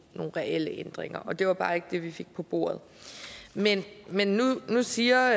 reelle ændringer og det var bare ikke det vi fik på bordet men men nu siger